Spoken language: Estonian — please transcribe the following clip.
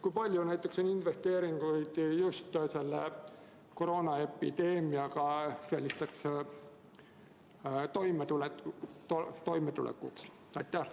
Kui palju näiteks on investeeringuid just selle koroonaepideemiaga toimetulekuks?